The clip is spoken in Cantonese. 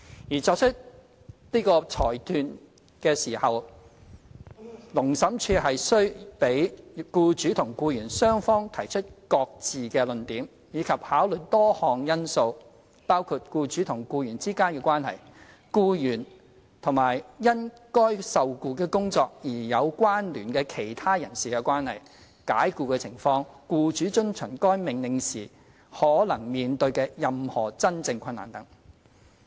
而在作出這裁斷時，勞審處須讓僱主與僱員雙方提出各自的論點，以及考慮多項因素，包括僱主與僱員之間的關係、僱員與因該受僱的工作而有關聯的其他人士的關係、解僱的情況、僱主遵從該命令時可能面對的任何真正困難等。